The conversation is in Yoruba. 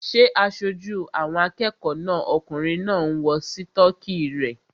Ṣé aṣojú àwọn akẹ́kọ̀ọ́ náà okùnrin náà ń wọ sítọ́kì rẹ̀?